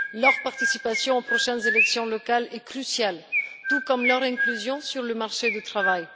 Leur participation aux prochaines élections locales est cruciale, tout comme leur inclusion sur le marché du travail.